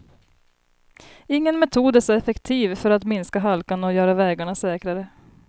Ingen metod är så effektiv för att minska halkan och göra vägarna säkrare.